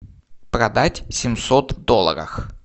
продать семьсот долларов